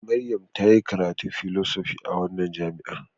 Maryam ta yi karatun fsychology a wannan jami'a.